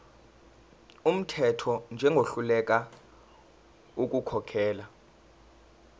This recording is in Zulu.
wumthetho njengohluleka ukukhokhela